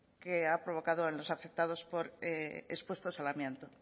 que ha provocado a los afectados expuestos al amianto